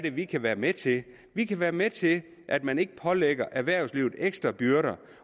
er vi kan være med til vi kan være med til at man ikke pålægger erhvervslivet ekstra byrder